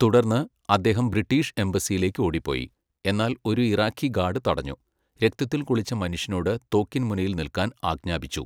തുടർന്ന് അദ്ദേഹം ബ്രിട്ടീഷ് എംബസിയിലേക്ക് ഓടിപ്പോയി, എന്നാൽ ഒരു ഇറാഖി ഗാർഡ് തടഞ്ഞു, രക്തത്തിൽ കുളിച്ച മനുഷ്യനോട് തോക്കിൻ മുനയിൽ നിൽക്കാൻ ആജ്ഞാപിച്ചു.